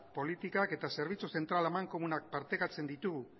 politikak eta zerbitzu zentral amankomunak partekatzen ditugu